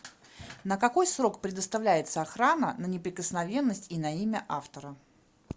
на какой срок предоставляется охрана на неприкосновенность и на имя автора